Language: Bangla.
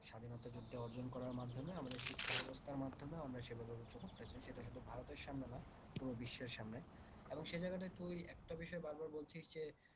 স্বাধীনতা যুদ্ধে অর্জন করার মাধ্যমে আমাদের শিক্ষা ব্যবস্থার মাধ্যমে আমরা সেভাবে উচ্চসেটা শুধু ভারতের সামনে নয় পুরো বিশ্বের সামনে এবং সে জায়গায় তুই একটা বিষয় বারবার বলছিস যে